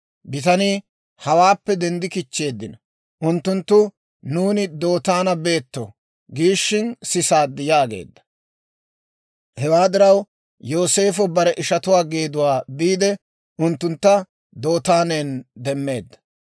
Bitanii, «Hawaappe denddi kichcheeddino; unttunttu, ‹Nuuni Dootaana beto› giishin sisaad» yaageedda. Hewaa diraw, Yooseefo bare ishatuwaa geeduwaa biide, unttuntta Dootaanan demmeedda.